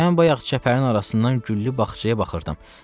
Mən bayaq çəpərin arasından güllü bağçaya baxırdım.